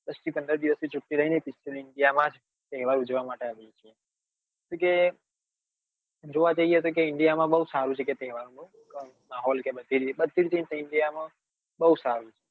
દસ થી પંદર દિવસ ની છૂટી લઇ ને special india માં જ તહેવાર ઉજવવા આવીએ છીએ શું કે જોવા જઈએ તો કે india માં બઉ સારું છે કે તહેવાર માં કે માહોલ માં બધી રીતે india માં બઉ સારું